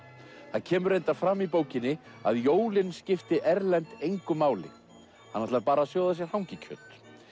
það kemur fram í bókinni að jólin skipti Erlend engu máli hann ætlar bara að sjóða sér hangikjöt